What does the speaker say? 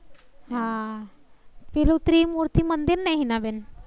હા પેલુ ત્રિમૂર્તિ મંદિર ને હીનાબેન?